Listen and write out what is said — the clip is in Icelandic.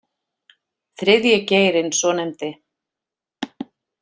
Þriðji geirinn svonefndi